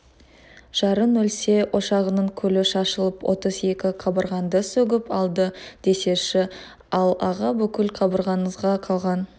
жарың өлсе ошағыңның күлі шашылып отыз екі қабырғаңды сөгіп алды десейші ал аға бүкіл қабырғаңызға қалқан